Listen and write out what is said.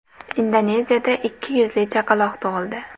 Indoneziyada ikki yuzli chaqaloq tug‘ildi .